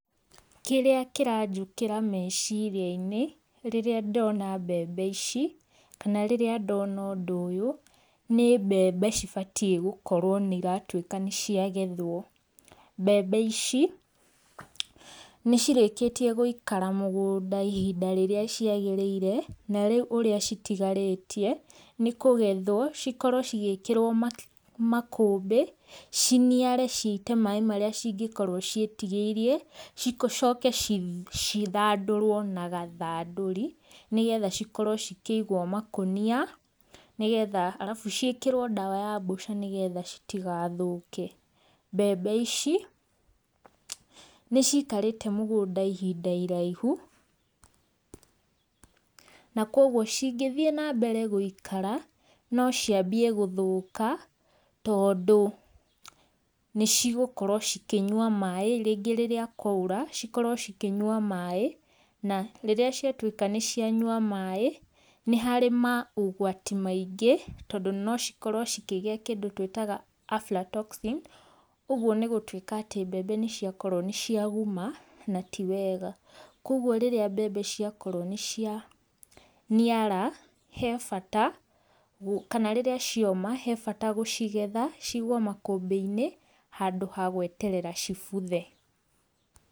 Kĩrĩa kĩranjũkĩra meciria-inĩ, rĩrĩa ndona mbembe ici, kana rĩrĩa ndona ũndũ ũyũ, nĩ mbembe cibatiĩ gũkorwo nĩiratuĩka nĩciagethwo, mbembe ici, nĩcirĩkĩtie gũikara mũgũnda ihinda rĩrĩa ciagĩrĩire, na rĩu ũrĩa citigarĩtie, nĩkũgethwo, cikorwo cigĩkĩrwo, makũmbĩ, ciniare cite maĩ marĩa cingĩkorwo ciĩtigĩirie, ciko ci cithi cithandũrwo na gathandũri, nĩgetha cikorwo cikĩigũo makonia, nĩgetha, arabu ciĩkĩrwo ndawa ya mboca nĩgetha citigathũke, mbembe ici, nĩcikarĩte mũgũnda ihinda iraihu, na kwoguo, cingĩthiĩ nambere na gũikara, no ciambie gũthũka, tondũ, nĩcigũkorwo cikĩnyua maĩ, rĩngĩ rĩrĩa kwaura, cikorwo cikĩnyua maĩ na rĩrĩa ciatwĩka nĩcianyua maĩ, nĩharĩ ma ũgwati maingĩ, tondũ nocikorwo cikĩgĩa kĩndũ tuĩtaga aflatoxin ũguo nĩgũtuĩka atĩ mbembe nĩciakorwo nĩciaguma, na ti wega, koguo rĩrĩa mbembe ciakorwo nĩcia niara, he bata gũ, kana rĩrĩa cioma, he bata gũcigetha, cigwo makũmbĩ-inĩ, handũ ha gweterera cibuthe.